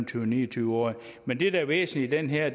til ni og tyve årige men det der er væsentligt i det her